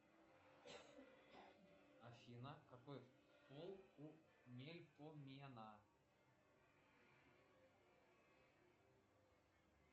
афина какой пол у мельпомена